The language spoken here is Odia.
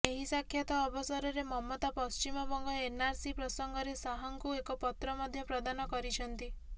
ଏହି ସାକ୍ଷାତ ଅବସରରେ ମମତା ପଶ୍ଚିମବଙ୍ଗ ଏନଆରସି ପ୍ରସଙ୍ଗରେ ଶାହଙ୍କୁ ଏକ ପତ୍ର ମଧ୍ୟ ପ୍ରଦାନ କରିଛନ୍ତି